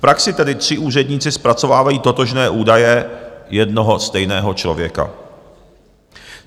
V praxi tedy tři úředníci zpracovávají totožné údaje jednoho stejného člověka.